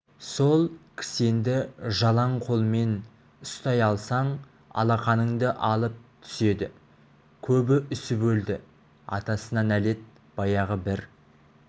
сол кісенді жалаң қолмен ұстай алсаң алақаныңды алып түседі көбі үсіп өлді атасына нәлет баяғы бір